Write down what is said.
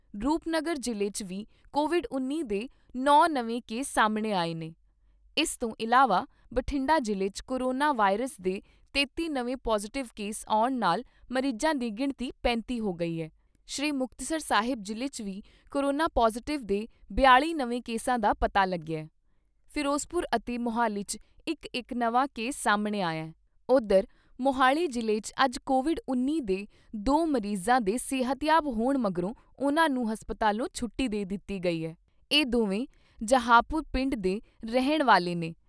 ਰੂਪਨਗਰ ਜਿਲ੍ਹੇ 'ਚ ਵੀ ਕੋਵਿਡ ਉੱਨੀ ਦੇ ਨੌ ਨਵੇਂ ਕੇਸ ਸਾਹਮਣੇ ਆਏ ਨੇ। ਇਸ ਤੋਂ ਇਲਾਵਾ ਬਠਿੰਡਾ ਜਿਲ੍ਹੇ 'ਚ ਕੋਰੋਨਾ ਵਾਇਰਸ ਦੇ ਤੇਤੀ ਨਵੇਂ ਪੌਜਿਟਿਵ ਕੇਸ ਆਉਣ ਨਾਲ ਮਰੀਜਾਂ ਦੀ ਗਿਣਤੀ ਪੈਂਤੀ ਹੋ ਗਈ ਏ। ਸ਼੍ਰੀ ਮੁਕਤਸਰ ਸਾਹਿਬ ਜਿਲ੍ਹੇ 'ਚ ਵੀ ਕੋਰੋਨਾ ਪੌਜਿਟਿਵ ਦੇ ਬਿਆਲ਼ੀ ਨਵੇਂ ਕੇਸਾਂ ਦਾ ਪਤਾ ਲੱਗਿਆ ।ਫਿਰੋਜਪੁਰ ਅਤੇ ਮੌਹਾਲੀ 'ਚ ਇਕ ਇਕ ਨਵਾਂ ਕੇਸ ਸਾਹਮਣੇ ਆਇਆ। ਉੱਧਰ ਮੋਹਲੀ ਜਿਲ੍ਹੇ 'ਚ ਅੱਜ ਕੋਵਿਡ ਉੱਨੀ ਦੇ ਦੋ ਮਰੀਜਾਂ ਦੇ ਸਿਹਤਯਾਬ ਹੋਣ ਮਗਰੋਂ ਉਨ੍ਹਾਂ ਨੂੰ ਹਸਪਤਾਲੋਂ ਛੁੱਟੀ ਦੇ ਦਿੱਤੀ ਗਈ ਏ। ਇਹ ਦੋਵੇਂ ਜਵਾਹਰਪੁਰ ਪਿੰਡ ਦੇ ਰਹਿਣ ਵਾਲੇ ਨੇ।